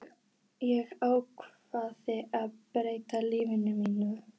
Ég ákvað að breyta lífi mínu.